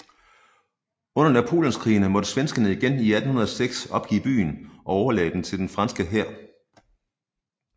Under Napoleonskrigene måtte svenskerne igen i 1806 opgive byen og overlade den til den franske hær